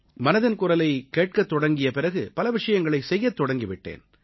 மனதின் குரலைக் கேட்கத் தொடங்கிய பிறகு பல விஷயங்களைச் செய்யத் தொடங்கி விட்டேன்